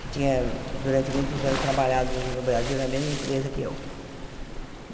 que tinha, durante muitos anos, trabalhado no no Brasil na mesma empresa que eu.